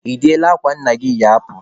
Ị deela akwa nna gị yi apụ?